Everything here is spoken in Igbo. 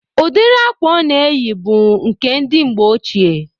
Udiri akwa ọ na-eyi bụ nke ndị mgbe ochie